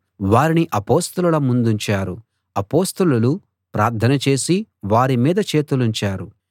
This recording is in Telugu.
వారిని అపొస్తలుల ముందుంచారు అపొస్తలులు ప్రార్థన చేసి వారిమీద చేతులుంచారు